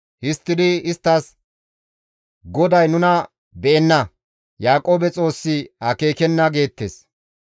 Histtidi isttas, «GODAY nuna be7enna; Yaaqoobe Xoossi akeekenna» geettes.